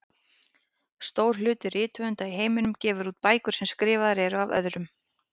Stór hluti rithöfunda í heiminum gefur út bækur sem eru skrifaðar af öðrum.